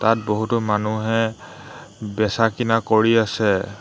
তাত বহুতো মানুহে বেচা-কিনা কৰি আছে।